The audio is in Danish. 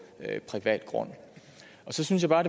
privat grund så synes jeg bare